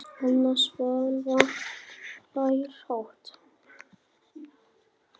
Anna Svava hlær hátt.